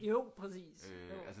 Jo præcis jo